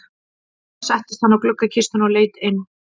Þar settist hann á gluggakistuna og leit inn.